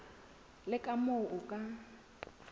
le ka moo o ka